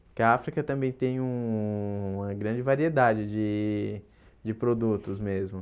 Porque a África também tem uma grande variedade de de produtos mesmo.